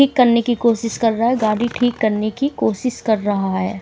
ठीक करने की कोशिश कर रहा है गाड़ी ठीक करने की कोशिश कर रहा है।